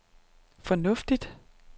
fornuftigt